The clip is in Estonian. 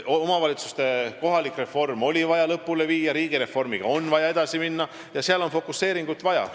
Omavalitsuste reform oli vaja lõpule viia ja riigireformiga on vaja edasi minna – seal on ka fokuseeringut vaja.